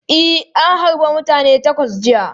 E, an harbe mutane takwas jiya.